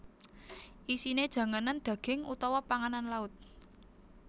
Isine janganan daging utawa panganan laut